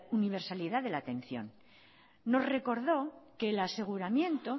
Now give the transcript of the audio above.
universalidad de la atención nos recordó que el aseguramiento